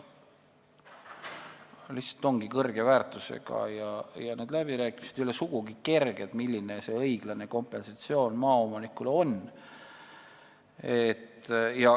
Need lihtsalt ongi kõrge väärtusega ja ei ole sugugi kerge läbi rääkida, milline on õiglane kompensatsioon maaomanikule.